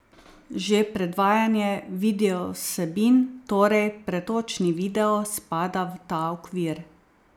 Že predvajanje videovsebin, torej pretočni video, spada v ta okvir.